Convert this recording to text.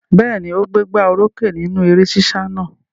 Bẹ́ẹ̀ ni, ó gbégbá orókè nínú eré sísá náà.